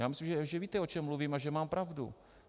Já myslím, že víte, o čem mluvím, a že mám pravdu.